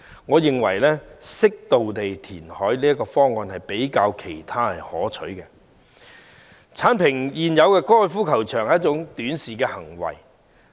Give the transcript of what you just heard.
我認為適度填海的方案較其他方案可取，而剷平現有高爾夫球場是一種短視行為。